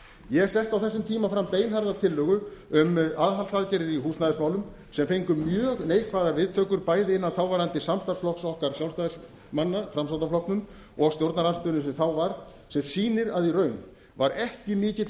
ég setti á þessum tíma fram beinharða tillögu um aðhaldsaðgerðir í húsnæðismálum sem fengu mjög neikvæðar viðtökur bæði innan þáverandi samstarfsflokks okkar sjálfstæðismanna framsóknarflokknum og stjórnarandstöðunni sem þá var sem sýnir að í raun var ekki mikill